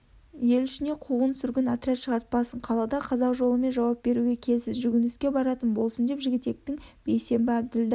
ел ішіне қуғын-сүргін отряд шығарт-пасын қалада қазақ жолымен жауап беруге келсін жүгініске баратын болсын деп жігітектің бейсенбі әбділда